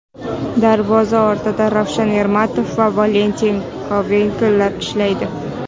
Darvoza ortida Ravshan Ermatov va Valentin Kovalenko ishlaydi.